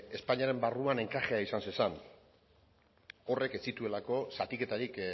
espainiaren barruan enkajea izan zezan horrek ez zituelako zatiketarik